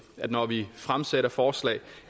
at når vi fremsætter forslag